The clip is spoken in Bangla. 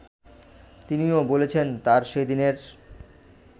তিনিও বলেছেন তাঁর সেদিনের